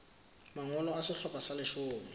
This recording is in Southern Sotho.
mangolo a sehlopha sa leshome